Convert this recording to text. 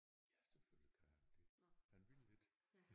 Ja selvfølgelig kan han det han ville ikke